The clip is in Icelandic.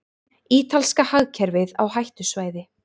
Ítalska hagkerfið á hættusvæði